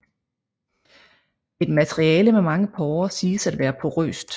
Et materiale med mange porer siges at være porøst